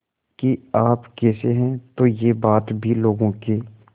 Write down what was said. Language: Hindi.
कि आप कैसे हैं तो यह बात भी लोगों के